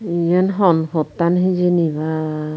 iyen hon pottan hijeni baa.